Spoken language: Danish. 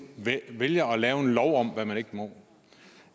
vælger at lave en lov om hvad man ikke må